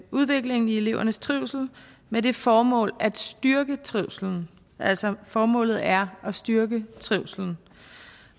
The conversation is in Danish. udviklingen i elevernes trivsel med det formål at styrke trivslen altså formålet er at styrke trivslen